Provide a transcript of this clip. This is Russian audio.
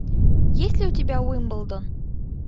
есть ли у тебя уимблдон